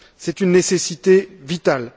C'est une nécessité vitale.